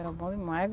Era bom demais.